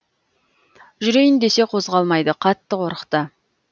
жүрейін десе қозғалмайды қатты қорықты